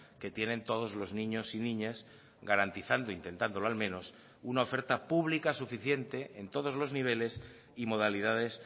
que tienen todos los niños y niñas garantizando intentándolo al menos una oferta pública suficiente en todos los niveles y modalidades